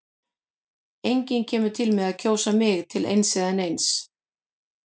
Enginn kemur til með að kjósa mig til eins eða neins.